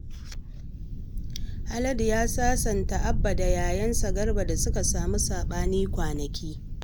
Haladu ya sasanta Abba da yayansa Garba da suka samu saɓani kwanaki